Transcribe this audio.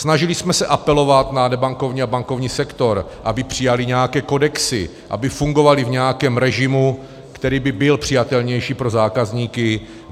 Snažili jsme se apelovat na nebankovní a bankovní sektor, aby přijaly nějaké kodexy, aby fungovaly v nějakém režimu, který by byl přijatelnější pro zákazníky.